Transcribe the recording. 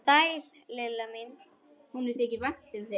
Sæl Lilla mín!